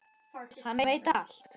Hann veit allt!